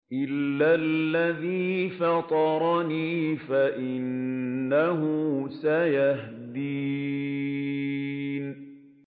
إِلَّا الَّذِي فَطَرَنِي فَإِنَّهُ سَيَهْدِينِ